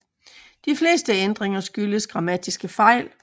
De fleste ændringer skyldtes grammatiske fejl